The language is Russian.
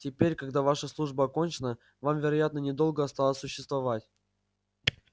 теперь когда ваша служба окончена вам вероятно недолго осталось существовать